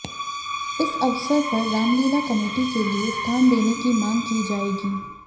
इस अवसर पर रामलीला कमेटी के लिये स्थान देने की मांग की जायेगी